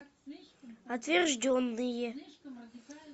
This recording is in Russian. отвержденные